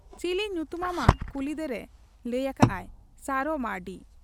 ᱪᱤᱞᱤ ᱧᱩᱛᱩᱢᱟᱢᱟ ᱠᱩᱞᱤᱠᱮᱫᱮᱨᱮ ᱞᱟᱹᱭ ᱟᱠᱟᱜ ᱟᱭ, 'ᱥᱟᱨᱚ ᱢᱟᱹᱨᱰᱤ ᱾'